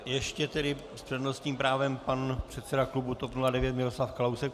Ještě tedy s přednostním právem pan předseda klubu TOP 09 Miroslav Kalousek.